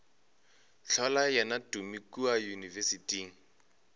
hlola yena tumi kua yunibesithing